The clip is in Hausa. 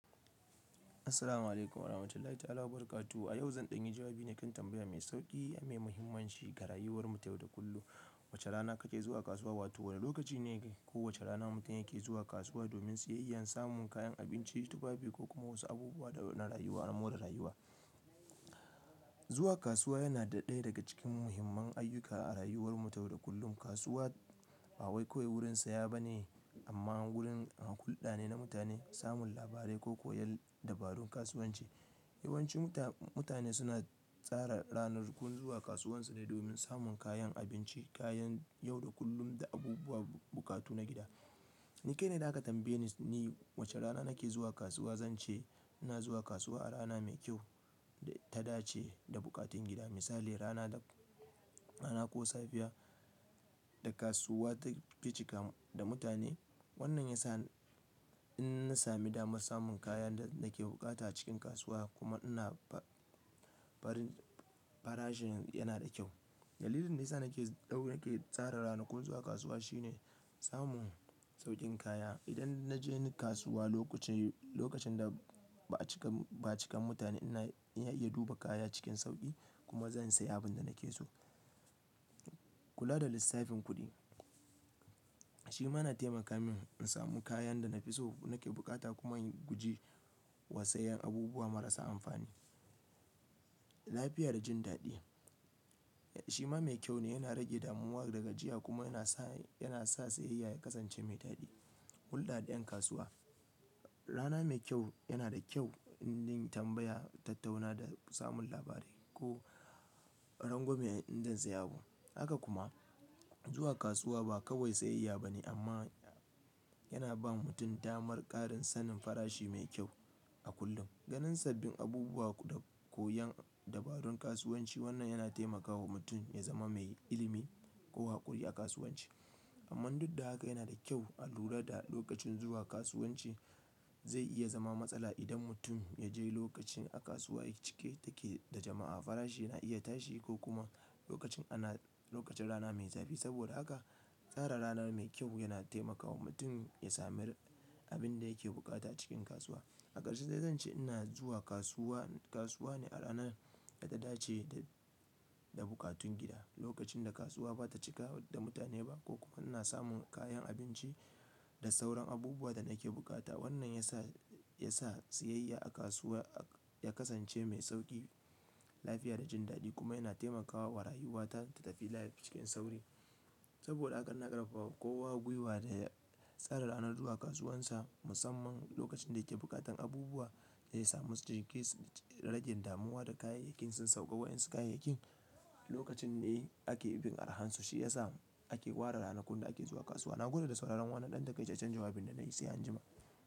Assalamualaikum warahmatullahi ta'ala wabarakatuh. A yau zan ɗanyi jawabi ne kan tambaya mai sauƙi amma himmanshi ga rayuwar mu ta yau da kullum. Wace rana kake zuwa kasuwa? Wato wane lokaci ne ko wace rana mutum yake zuwa kasuwa domin siyayya, samun kayan abinci, tufafi ko kuma wasu abubuwa na rayuwa, na more rayuwa. Zuwa kasuwa yana ɗaya daga cikin muhimman ayyuka a rayuwar mu ta yau da kullum. Kasuwa ba wai kawai wurin saye ba ne amma wurin hulɗa ne na mutane, samun labarai ko koyan dabarun kasuwanci. Yawanci muta-mutane suna tsara ranakun zuwa kasuwan su ne domin samun kayan abinci, kayan yau da kullum da abubuwa, buƙatu na gida. Ni kai ne da aka tambaye ni wace rana nake zuwa kasuwa, zan ce ina zuwa kasuwa a rana mai kyau da ta dace da buƙatun gida. Misali rana da rana ko safiya da kasuwa take cika da mutane. Wannan ya sa in na sami damar samun kayan da nake bukata a cikin kasuwa kuma ina ba-farin farashin yana da kyau. Dalilin da ya sa nake dau-nake tsara ranakun zuwa kasuwa shine samun sauƙin kaya. Idan na je kasuwa loku-lokacin da ba a cika, ba a cika mutane ina iya duba kaya cikin sauƙi kuma zan sayi abin da nake so. Kula da lissafin kudi shima yana taimaka min in sami kayan da na fi so nake bukata kuma in gujewa sayen abubuwa marasa amfani. Lafiya da jin daɗi shi ma mai kyau ne, yana rage damuwa daga jiya kuma yana sa, yana sa siyayya ya kasance mai daɗi. Hulɗa da ƴan kasuwa. Rana mai kyau yana da kyau indin tambaya, tattauna da samun labarai ko rangwame in zan sayi abu. Haka kuma zuwa kasuwa ba kawai siyayya ba ne amma yana ba mutum damar ƙarin sanin farashi mai kyau a kullum. Ganin sabbin abubuwa da koyan dabarun kasuwanci wannan yana taimakawa mutum ya zama mai ilimi ko haƙuri a kasuwanci. Amman duk da haka yana da kyau a lura da lokacin zuwa kasuwanci zai iya zama matsala idan mutum yaje lokacin kasuwa cike take da jama'a, farashi na iya tashi ko kuma lokacin rana mai zafi, saboda haka tsara rana mai kyau yana taimaka wa mutum ya sami abinda yake bukata cikin kasuwa. A ƙarshe zai zan ce ina zuwa kasuwa, kasuwa ne a rana da ta dace da, da buƙatun gida. Lokacin da kasuwa ba ta cika da mutane ba ko kuma ina samun kayan abinci da sauran abubuwa da nake bukata. Wannan ya sa, ya sa siyayya a kasuwa ya kasance mai sauƙi, lafiya da jin daɗi kuma yana taimakawa wa rayuwata ta tafi lafiya cikin sauri. Saboda haka na ƙarfafa kowa gwiwa da ya tsara ranar zuwa kasuwansa musamman lokacin da yake buƙatar abubuwa zai samu su, rage damuwa da kayayyakin sun sauƙa wa ƴan siyayya kayayyakin lokacin ne ake bin arhan su shi ya sa ake ware ranakun da ake zuwa kasuwa. Na gwada da sauraron wannan ɗan takai don canja jawabin da na yi sai anjima.